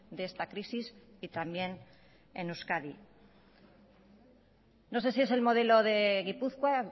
de esta crisis y también en euskadi no sé si es el modelo de gipuzkoa